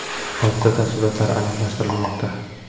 Hodisa tafsilotlari aniqlashtirilmoqda.